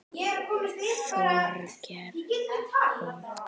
Þorgeir og